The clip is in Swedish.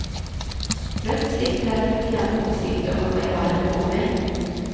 Plötsligt hade du knappt åsikter om vad jag hade på mig!